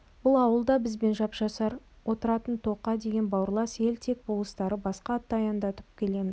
бұл ауыл да бізбен жапсар отыратын тоқа деген бауырлас ел тек болыстары басқа атты аяңдатып келеміз